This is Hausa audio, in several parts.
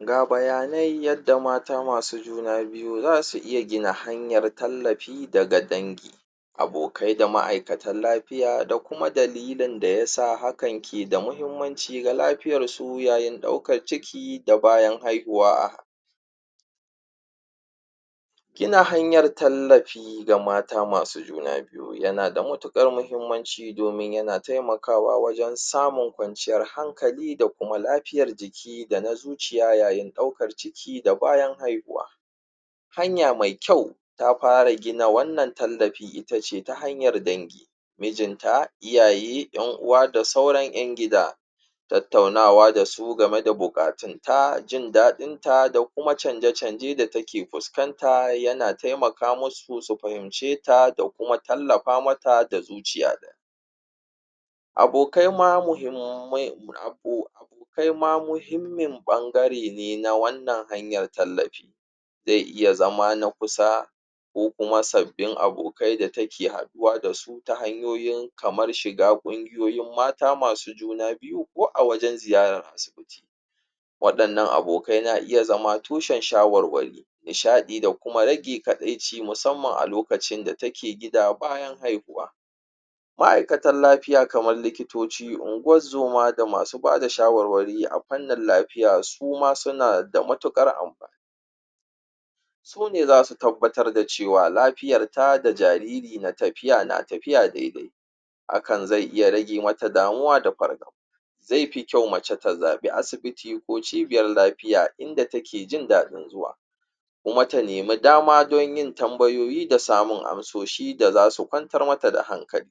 ga bayanai yadda mata masu juna biyu zasu iya gina hanyar tallafi daga dangi abokai da ma'aikatan lafiya da kuma dalilin da yasa hakan ke da muhimmanci ga lafiyar su yayin ɗaukar ciki da bayan haihuwa gina hanyar tallafi ga mata masu juna biyu yana da matuƙar mahimmanci domin yana taimakawa wajan samun kwanciyar hankali da kuma lafiyar jiki dana zuciya yayin ɗaukar ciki da bayan haihuwa hanya me kyau ta fara gina wannan tallafi itace ta hanyar dangi mijinta iyaye ƴan uwa da sauran ƴan gida tattaunawa dasu game da buƙatun ta jindaɗinta da kuma canje canje da take fuskanta yana taimaka musu su fahimceta da kuma tallafa mata da zuciya ɗaya abokaima muhimmin ɓangare ne na wannan hanyar tallafi zai iya zama na kusa ko kuma sabbin abokai da take haɗuwa dasu ta hanyoyin kamar shiga kungiyoyin mata masu juna biyu ko a wajan ziyarar asibiti waɗannan abokai na iya zama tushan shawarwari nishaɗi da kuma rage kaɗaici musamman a loacin da take gida bayan haihuwa ma'aikatan lafiya kamar likitoci ungozuma da masu bada shawarwari a fannin lafiya suma suna da matuƙar amfani sune zasu tabbatar da cewa lafiyarta da jariri na tafiya daidai hakan zai iya rage mata damuwa da fargaba zaifi kyau mace ta zaɓi asibiti ko cibiyar lafiya inda take jindaɗin zuwa kuma ta neme dama don yin tambayoyi da samun amsoshi da zasu ƙwantar mata da hankali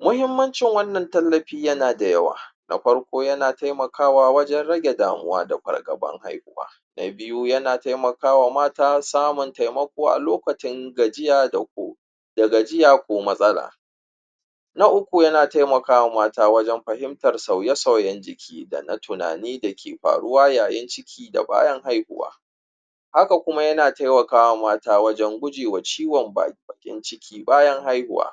muhimmancin wanna tallafi yana da yawa na farko yana taimakawa wajan rage damuwa da fargaban haihuwa na biyu yana taimakawa mata samun taimako a lokacin gajiya ko matsala na uku yana taimakawa wajan fahimtar sauye sauyan jiki dana tunani dake faruwa yayin ciki ko haihuwa haka kuma yana taiwakawa mata wajan gujewa ciwan bakin ciki bayan haihuwa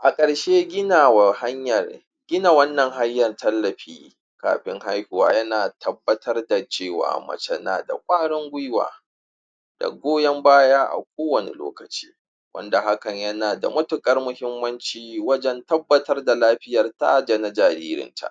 a ƙarshe ginawa hanyar gina wannan hanyar tallafi kafin haihuwa yana tabbatar da cewa mace na da ƙwarin gwiwa da goyan baya a kowanne lokaci wanda hakan yana da matuƙar wajan tabbatar da lafiyarta dana jaririnta